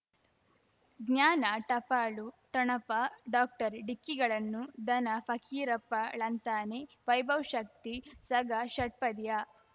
ಜ್ಞಾನ ಟಪಾಲು ಠೊಣಪ ಡಾಕ್ಟರ್ ಢಿಕ್ಕಿಗಳನು ಧನ ಫಕೀರಪ್ಪ ಳಂತಾನೆ ವೈಭವ್ ಶಕ್ತಿ ಝಗಾ ಷಟ್ಪದಿಯ